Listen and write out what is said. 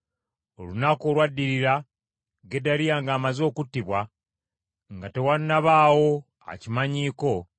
Olunaku olwaddirira Gedaliya ng’amaze okuttibwa, nga tewannabaawo akimanyiiko,